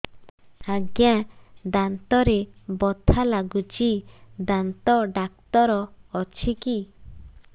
ଆଜ୍ଞା ଦାନ୍ତରେ ବଥା ଲାଗୁଚି ଦାନ୍ତ ଡାକ୍ତର ଅଛି କି